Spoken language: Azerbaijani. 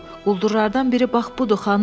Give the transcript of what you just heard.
Quldurlardan biri bax budur, xanım!